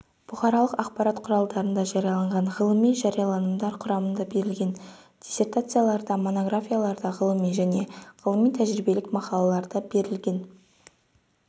бұқаралық ақпарат құралдарында жарияланған ғылыми жарияланымдар құрамында берілген диссертацияларда монографияларда ғылыми және ғылыми-тәжірибелік мақалаларда берілген